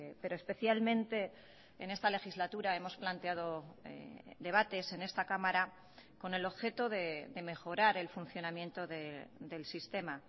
pero especialmente en esta legislatura hemos planteado debates en esta cámara con el objeto de mejorar el funcionamiento del sistema